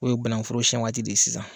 O ye bankuforo siyɛn waati de ye sisan.